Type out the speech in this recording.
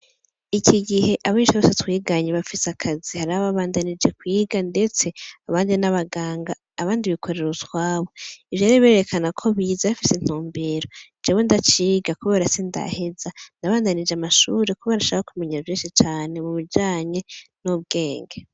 Iki gihe abanyeshure bose twiganye barafise akazi, hari ababandanije kwiga ndetse abandi ni abaganga, abandi bikorera utwabo, ivyo ngivyo vyerekana ko bize bafise intumbero, jewe ndaciga kubera sindaheza, nabandanije amashure kubera nshaka kumenya vyinshi cane mu bijanye n'ubwenge.